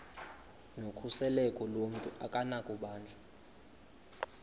nokhuseleko lomntu akunakubanjwa